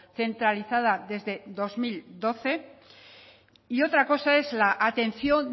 centralizada desde dos mil doce y otra cosa es la atención